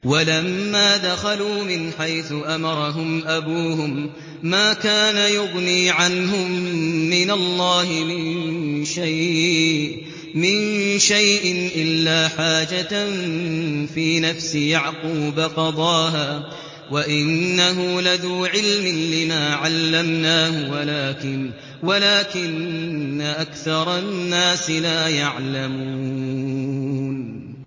وَلَمَّا دَخَلُوا مِنْ حَيْثُ أَمَرَهُمْ أَبُوهُم مَّا كَانَ يُغْنِي عَنْهُم مِّنَ اللَّهِ مِن شَيْءٍ إِلَّا حَاجَةً فِي نَفْسِ يَعْقُوبَ قَضَاهَا ۚ وَإِنَّهُ لَذُو عِلْمٍ لِّمَا عَلَّمْنَاهُ وَلَٰكِنَّ أَكْثَرَ النَّاسِ لَا يَعْلَمُونَ